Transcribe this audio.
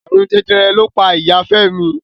Àrùn Jẹjẹrẹ ló pa Ìya Fẹ́mi.